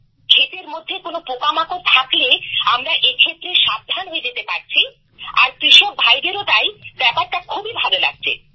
ক্ষেতের মধ্যে কোনো পোকামাকড় থাকলে আমরা এক্ষেত্রে সাবধান হয়ে যেতে পারছি আর কৃষকভাইদেরও তাই ব্যপারটা খুবই ভালো লাগছে